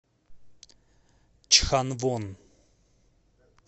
чханвон